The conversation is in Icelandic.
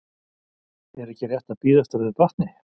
Er ekki rétt að bíða eftir að þau batni?